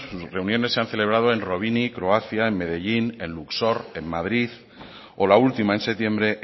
las reuniones se han celebrado en rovinj croacia en medellín en luxor en madrid o la última en septiembre